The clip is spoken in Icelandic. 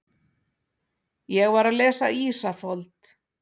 Ég var að lesa Ísafold.